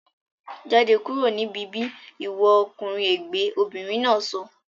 Jáde kúrò ní bíbí ìwọ ọkùnrin ègbẹ́! Obìnrin náà sọ